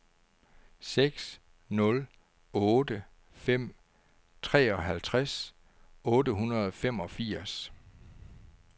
seks nul otte fem treoghalvtreds otte hundrede og femogfirs